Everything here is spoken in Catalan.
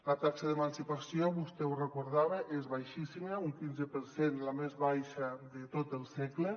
la taxa d’emancipació vostè ho recordava és baixíssima un quinze per cent la més baixa de tot el segle